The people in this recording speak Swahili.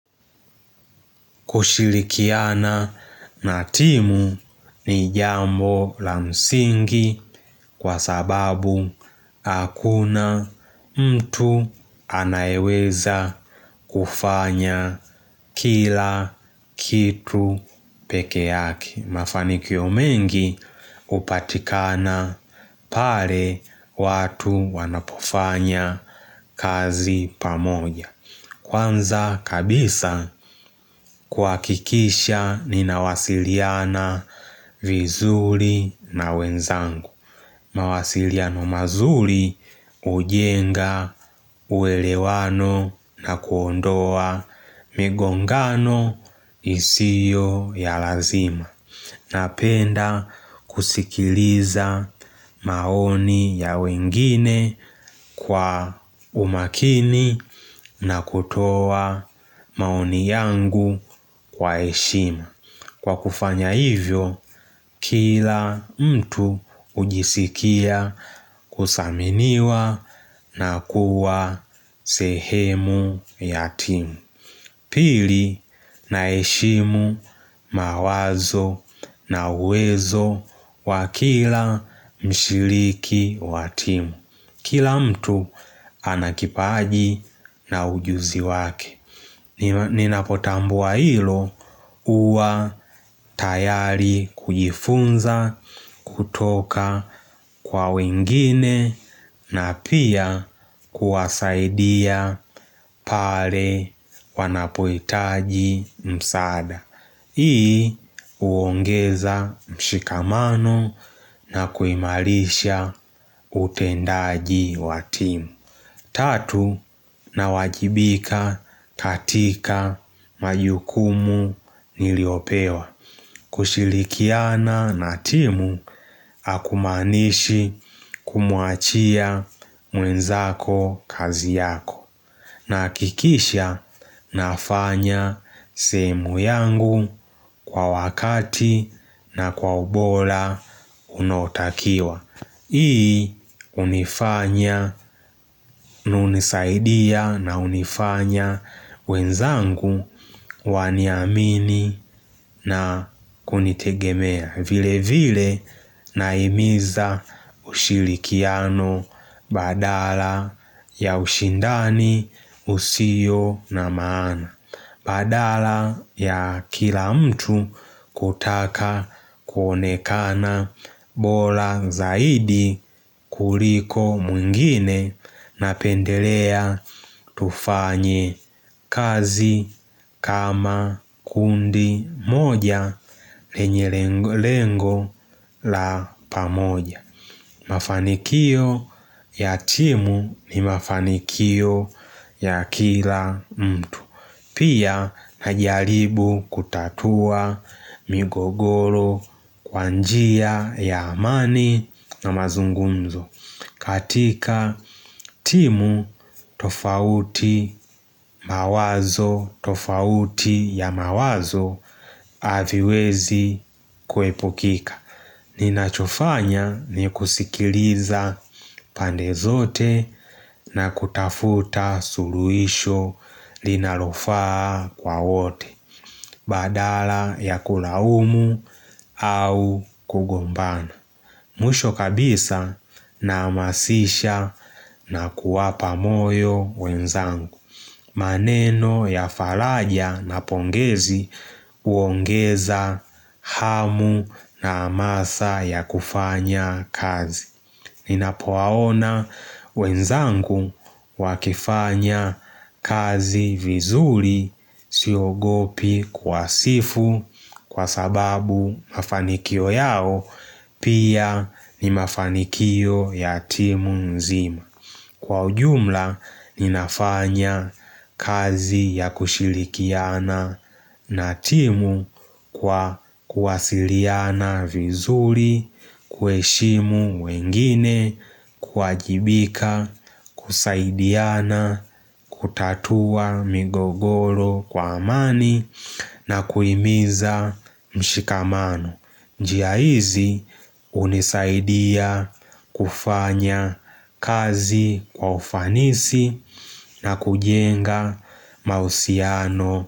Kushirikiana na timu ni jambo la msingi kwa sababu hakuna mtu anaeweza kufanya kila kitu peke yake. Mafanikio mengi hupatikana pale watu wanapofanya kazi pamoja. Kwanza kabisa kuhakikisha ninawasiliana vizuri na wenzangu. Mawasiliano mazuri hujenga uelewano na kuondoa migongano isiyo ya lazima. Napenda kusikiliza maoni ya wengine kwa umakini na kutoa maoni yangu kwa heshimu. Kwa kufanya hivyo, kila mtu hujisikia kuthaminiwa na kuwa sehemu ya timu. Pili naheshimu mawazo na uwezo wa kila mshiriki wa timu Kila mtu ana kipaji na ujuzi wake Ninapotambua hilo huwa tayari kujifunza kutoka kwa wengine na pia kuwasaidia pale wanapohitaji msaada Hii huongeza mshikamano na kuimarisha utendaji wa timu Tatu nawajibika katika majukumu niliopewa kushirikiana na timu hakumaanishi kumwachia mwenzako kazi yako Nahakikisha nafanya sehemu yangu kwa wakati na kwa ubora unaotakiwa, Hii hunifanya na hunisaidia na hunifanya wenzangu waniamini na kunitegemea. Vile vile nahimiza ushirikiano badala ya ushindani usio na maana Badala ya kila mtu kutaka kuonekana, bora zaidi kuliko mwingine Napendelea tufanye kazi kama kundi moja lenye lengo la pamoja Mafanikio ya timu ni mafanikio ya kila mtu Pia najaribu kutatua migogoro kwa njia ya amani na mazungunzo, katika timu tofauti mawazo tofauti ya mawazo haviwezi kuepukika Ninachofanya ni kusikiliza pande zote na kutafuta suluhisho linalofaa kwa wote Badala ya kulaumu au kugombana. Mwisho kabisa nahamasisha na kuwapa moyo wenzangu maneno ya faraja na pongezi huongeza hamu na hamasa ya kufanya kazi Ninapowaona wenzangu wakifanya kazi vizuri siogopi kuwasifu, kwa sababu mafanikio yao pia ni mafanikio ya timu nzima, Kwa ujumla ninafanya kazi ya kushirikiana na timu kwa kuwasiliana vizuri kuheshimu wengine, kuwajibika, kusaidiana, kutatua migogoro kwa amani na kuhimiza mshikamano. Njia hizi hunisaidia kufanya kazi kwa ufanisi na kujenga mahusiano.